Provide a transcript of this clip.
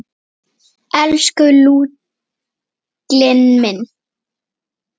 Elsku Lúlli minn.